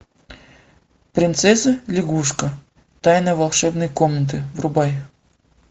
принцесса лягушка тайна волшебной комнаты врубай